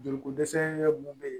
Joli ko dɛsɛ mun be yen